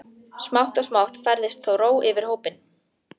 Smátt og smátt færðist þó ró yfir hópinn.